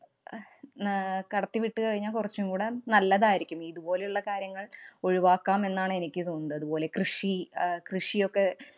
ന~ അഹ് കടത്തി വിട്ടുകഴിഞ്ഞാല്‍ കൊറച്ചും കൂടെ നല്ലതായിരിക്കും, ഇതുപോലെയുള്ള കാര്യങ്ങള്‍ ഒഴിവാക്കാം എന്നാണ് എനിക്ക് തോന്നുന്നത്. അതുപോലെ, കൃഷി, അഹ് കൃഷിയൊക്കെ